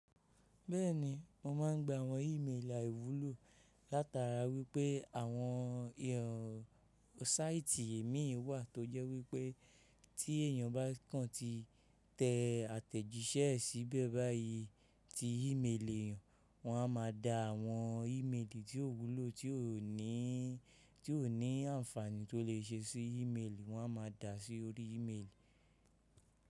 Bẹ́ẹ̀ni, mo máa ń gba àwọn ímeèlì àìwúlò látara wípẹ́ àwọn ẹ̀rọ sáìtì èmi wà tó jẹ́ wípẹ́ tí èèyàn bá kan ti tẹ àtẹ̀jíṣẹ́ síbẹ̀ báyìí tí ímeèlì eeyan, wọ́n a máa da àwọn ímeèlì tí ó wúlò ti o ni tí ò ní àǹfààní tó lè ṣe sí ímeèlì wọ́n a máa dà á sí orí ímeèlì.